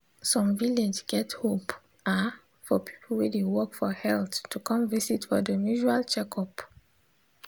some village get hope ah for people wey dey work for health to come visit for dem usual checkup.